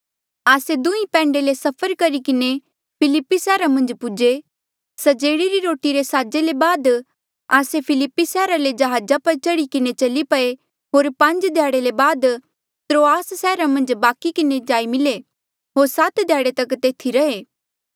आस्से दुहें पैंडे ले सफ़र करी किन्हें फिलिप्पी सैहरा मन्झ पूजे स्जेड़े री रोटी रे साजे ले बाद आस्से फिलिप्पी सैहरा ले जहाजा पर चढ़ी किन्हें चली पये होर पांज ध्याड़े ले बाद त्रोआस सैहरा मन्झ बाकि किन्हें जाई मिले होर सात ध्याड़े तक तेथी रैहे